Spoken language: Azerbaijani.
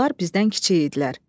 Onlar bizdən kiçik idilər.